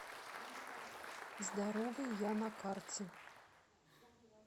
здоровый я на карте